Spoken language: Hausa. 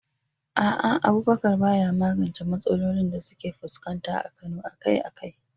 A'a, Abubakar ba ya magance matsalolin da suke fuskanta a Kano akai-akai.